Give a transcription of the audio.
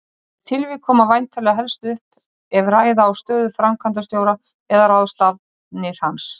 Og loks stóðu þau öll sjö í tvöfaldri röð inni á gólfi hjá henni Bertu.